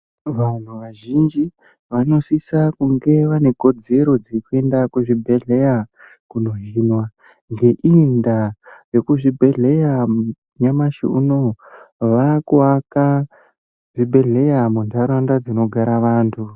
Vanhu vazhinji vanosisa kunge vanekodzero dzekuenda kuzvibhedhleya koohinwa. Ngeiyi ndaa vekuzvibhehleya nyamashi unoo vaakuvaka zvibhehleya muntaraunda dzinogara vantu.